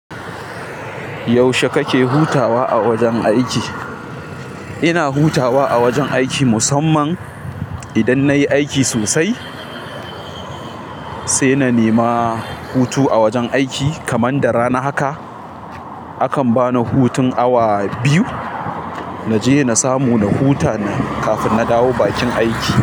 Yaushe kake hutawa a wajen aiki? Ina hutawa a wajen aiki musamman idan nayi aiki sosai sai na nema hutu a wajen aiki kaman da rana haka, akan bani hutun awa biyu. Naje na samu na huta kafin na dawo bakin aiki.